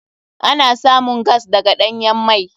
Ana samun gas daga ɗanyan mai.